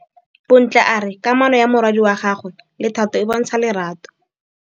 Bontle a re kamanô ya morwadi wa gagwe le Thato e bontsha lerato.